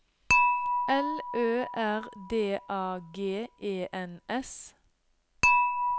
L Ø R D A G E N S